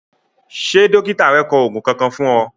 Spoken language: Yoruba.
Ṣé dọ́kítà rẹ kọ òògùn Kankan fún ọ?